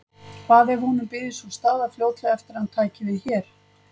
Hvað ef honum byðist sú staða fljótlega eftir að hann tæki við hér?